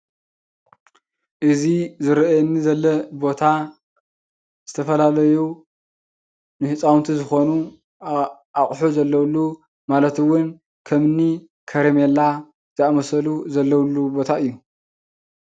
እዚ ዝረአየኒ ዘሎ ቦታ ዝተፈላለዩ ንህፃውንቲ ዝኮኑ አቁሑ ዘለውሉ ማለት እውን ከምኒ ከረሜላ ዝአመሰሉ ዘለውሉ ቦታ እዩ።